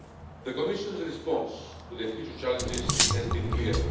The Commission's response to the future challenges has been clear.